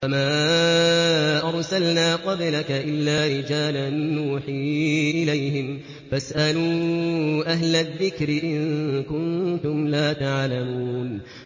وَمَا أَرْسَلْنَا قَبْلَكَ إِلَّا رِجَالًا نُّوحِي إِلَيْهِمْ ۖ فَاسْأَلُوا أَهْلَ الذِّكْرِ إِن كُنتُمْ لَا تَعْلَمُونَ